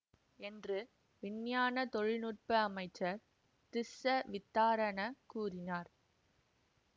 என்று விஞ்ஞான தொழில் நுட்ப அமைச்சர் திஸ்ஸ வித்தாரண கூறினார்